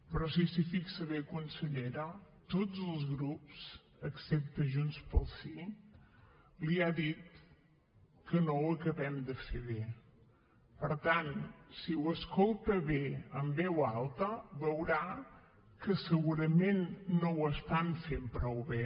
però si s’hi fixa bé consellera tots els grups excepte junts pel sí li han dit que no ho acabem de fer bé per tant si ho escolta bé en veu alta veurà que segurament no ho estan fent prou bé